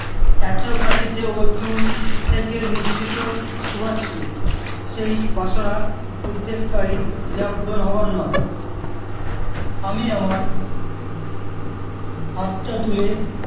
এতো কাছে যে ওর চুল থেকে নিঃসৃত সুবাস ছিল সেই বাসনা উদ্বেগ করি যা পূরণ হওয়ার নয় আমি আমার হাতটা তুলে